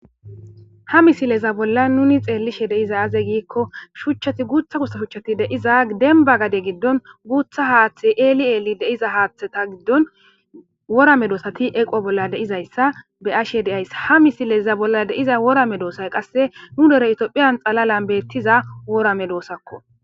ha misileza bolla nuni xeellishe deiza aze giikko shuchchati guutha gutsa shuchchati deiza denba gade giddon guutha haaththe eeli eeli deiza haaththeta giddon wora me doosati eqwo bolla deizayssa be ashe deayssa ha misileza bolla deiza wora me doosay qasse nu dere itiophiyan xalalan beettiza wora me doosakko